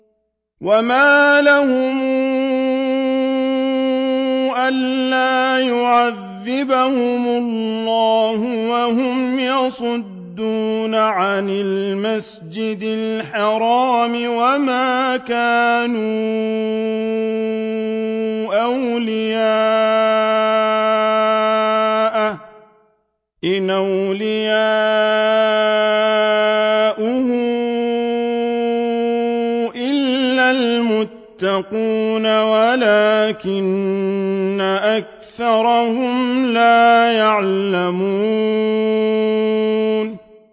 وَمَا لَهُمْ أَلَّا يُعَذِّبَهُمُ اللَّهُ وَهُمْ يَصُدُّونَ عَنِ الْمَسْجِدِ الْحَرَامِ وَمَا كَانُوا أَوْلِيَاءَهُ ۚ إِنْ أَوْلِيَاؤُهُ إِلَّا الْمُتَّقُونَ وَلَٰكِنَّ أَكْثَرَهُمْ لَا يَعْلَمُونَ